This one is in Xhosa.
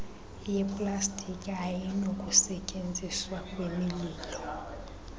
yeplastiki ayinakusetyenziswa kwimililo